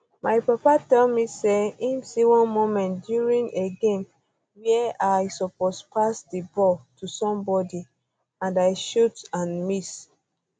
my papa um tell me me say im see one moment during a um game wia i suppose pass di ball to somebody and i shot and miss